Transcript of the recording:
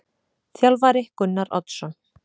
Þjálfari: Gunnar Oddsson.